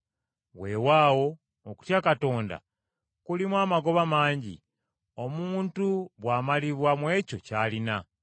Weewaawo okutya Katonda kulimu amagoba mangi, omuntu bw’amalibwa mu ekyo ky’alina.